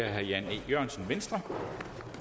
her